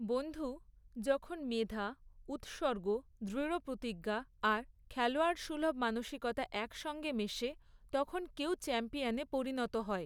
বন্ধু, যখন মেধা, উৎসর্গ, দৃঢ়প্রতিজ্ঞা আর খেলোয়াড়সুলভ মানসিকতা একসঙ্গে মেশে তখন কেউ চ্যাম্পিয়নে পরিণত হয়।